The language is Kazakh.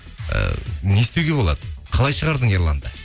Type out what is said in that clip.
ы не істеуге болады қалай шығардың ерланды